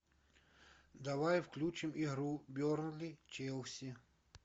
давай включим игру бернли челси